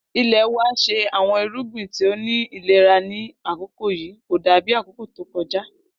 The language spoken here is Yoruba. Ilẹ wa ṣe awọn irugbin ti o ni ilera ni akoko yii ko dabi akoko to kọja